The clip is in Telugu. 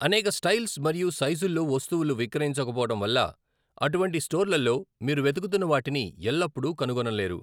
అనేక స్టైల్స్ మరియు సైజుల్లో వస్తువులు విక్రయించకపోవడం వల్ల అటువంటి స్టోర్లలో మీరు వెతుకుతున్న వాటిని ఎల్లప్పుడూ కనుగొనలేరు.